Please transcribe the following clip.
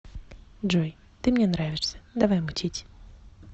джой ты мне нравишься давай мутить